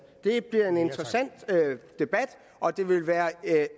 det bliver en interessant debat og det vil være